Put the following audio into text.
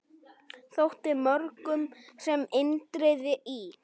Þótti mörgum sem Indriði í